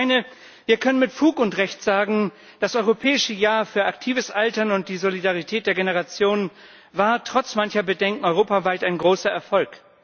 Ich meine, wir können mit Fug und Recht sagen, das Europäische Jahr für aktives Altern und die Solidarität der Generationen war trotz mancher Bedenken europaweit ein großer Erfolg.